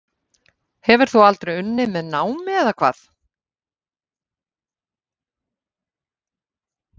Sölvi: Hefur þú aldrei unnið með námi eða hvað?